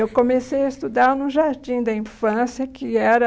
Eu comecei a estudar no Jardim da Infância, que era...